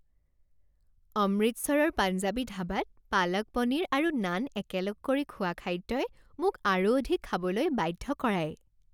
অমৃতসৰৰ পাঞ্জাবী ধাবাত পালক পনীৰ আৰু নান একেলগ কৰি খোৱা খাদ্যই মোক আৰু অধিক খাবলৈ বাধ্য কৰায়।